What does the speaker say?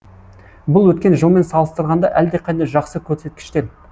бұл өткен жылмен салыстырғанда әлдеқайда жақсы көрсеткіштер